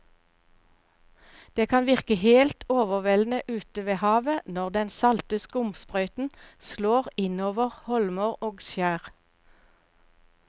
Det kan virke helt overveldende ute ved havet når den salte skumsprøyten slår innover holmer og skjær.